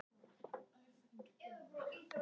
Eftir stóðu braggarnir.